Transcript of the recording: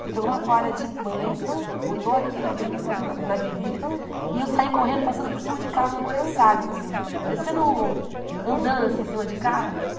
Ele pegou uma toalha de banho, botou aqui na abertura, na virilha, e eu saí correndo, passando por cima de carro, na Moraes Salles, assim, parecendo... andando, assim, em cima de carro.